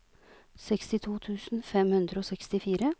sekstito tusen fem hundre og sekstifire